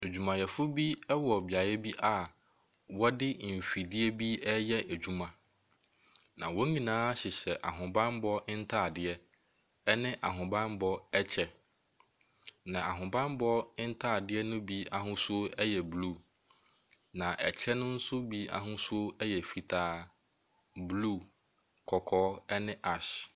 Adwumayɛfo bi ɛwɔ beaeɛ bi a ɔde nfidie bi ɛɛyɛ adwuma. Na wɔn nyinaa hyehyɛ ahobanbɔ ntaadeɛ ɛne ahobanbɔ kyɛ. Na ahobanbɔ ntaadeɛ no bi ahosuo ɛyɛ blue na ɛkyɛ no nso bi ahosuo ɛyɛ fitaa, blue, kɔkɔɔ ɛne ash.